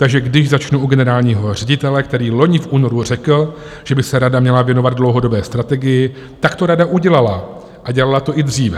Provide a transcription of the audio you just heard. Takže když začnu u generálního ředitele, který vloni v únoru řekl, že by se rada měla věnovat dlouhodobé strategii, tak to rada udělala a dělala to i dříve.